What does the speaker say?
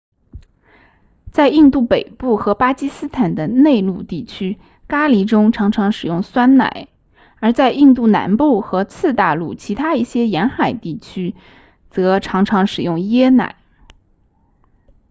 在印度北部和巴基斯坦的内陆地区咖喱中常常使用酸奶而在印度南部和次大陆其他一些沿海地区则常常使用椰奶